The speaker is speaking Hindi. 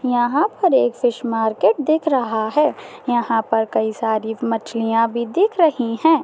यहाँ पर एक फिश मार्किट दिख रहा हैं यहाँ पर कई सारी मछलिया भी दिख रही हैं।